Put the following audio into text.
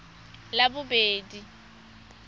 labobedi